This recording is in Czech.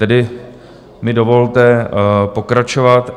Tedy mi dovolte pokračovat: